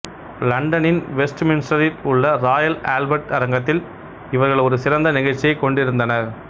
இலண்டனின் வெஸ்ட்மின்ஸ்டரில் உள்ள Royal Albert அரங்கத்தில் இவர்கள் ஒரு சிறந்த நிகழ்ச்சியைக் கொண்டிருந்தனர்